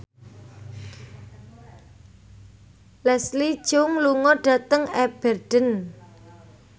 Leslie Cheung lunga dhateng Aberdeen